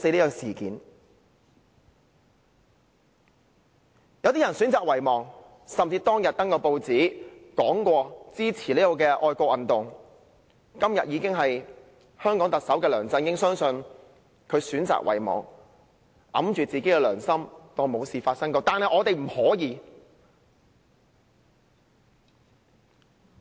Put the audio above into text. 有些人選擇遺忘，當日曾刊登報紙聲言支持這項愛國運動、今日已成為香港特首的梁振英選擇遺忘，捂着良心當作沒事發生，但我們不能。